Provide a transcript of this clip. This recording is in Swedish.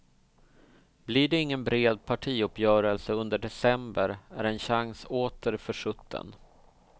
Blir det ingen bred partiuppgörelse under december är en chans åter försutten.